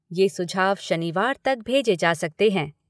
ये सुझाव शनिवार तक भेजे जा सकते हैं।